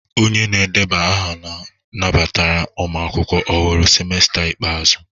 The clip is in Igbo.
Onye na-edeba aha nabatara ụmụ akwụkwọ ọhụrụ semester ikpeazụ?